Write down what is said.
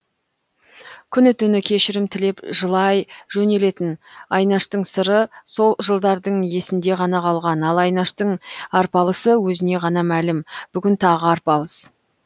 күні түні кешірім тілеп жылай жөнелетін айнаштың сыры сол жылдардың есінде ғана қалған ал айнаштың арпалысы өзіне ғана мәлім бүгін тағы арпалыс